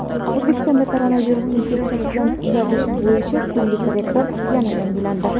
O‘zbekistonda koronavirus infeksiyasidan tuzalish bo‘yicha kunlik rekord yana yangilandi.